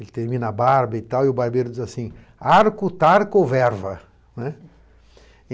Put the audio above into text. Ele termina a barba e tal, e o barbeiro diz assim: arco, tarco, verva, né.